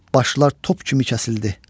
Başlar top kimi kəsildi.